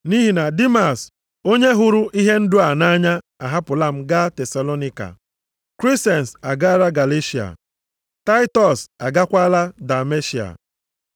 nʼihi na Dimas onye hụrụ ihe ndụ a nʼanya ahapụla m gaa Tesalonaịka. Kresens agaala Galeshịa, Taịtọs agakwaala Dalmetia.